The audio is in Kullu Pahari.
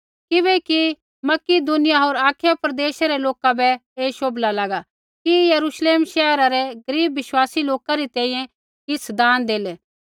किबैकि कि मकिदुनिया होर अखाया प्रदेशा रै लोका बै ऐ शोभला लागा कि यरूश्लेम शैहरा रै गरीब विश्वासी लोका री तैंईंयैं किछ़ दान देलै